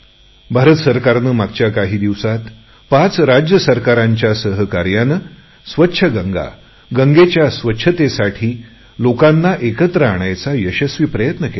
भारत सरकारने मागच्या काही दिवसात पाच राज्य सरकारच्या सहकार्याने स्वच्छ गंगा गंगेच्या स्वच्छतेसाठी लोकांना एकत्र आणायचा यशस्वी प्रयत्न केला